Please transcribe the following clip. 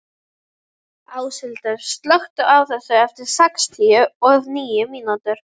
Áshildur, slökktu á þessu eftir sextíu og níu mínútur.